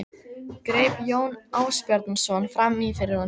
greip Jón Ásbjarnarson fram í fyrir honum.